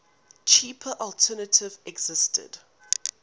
cheaper alternative existed